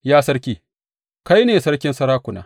Ya, sarki, kai ne sarkin sarakuna.